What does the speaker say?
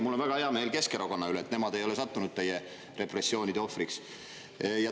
Mul on väga hea meel Keskerakonna üle, et nemad ei ole sattunud teie repressioonide ohvriks.